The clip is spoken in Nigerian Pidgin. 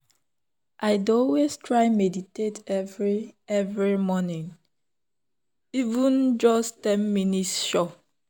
i dey always try meditate every every morning — even just ten minutes sure.